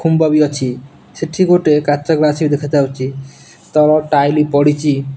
ଖୁମ୍ବ ବି ଅଛି ସେଠି ଗୋଟେ କାଚ ଗ୍ଲାସ୍ ବି ଦେଖା ଯାଉଚି ତଳ ଟାଇଲ ପଡ଼ିଚି।